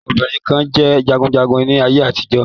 Àwọn obìnrin kan jẹ́ jagunjagun ní ayé àtijọ́.